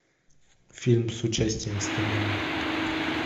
фильм с участием стэна ли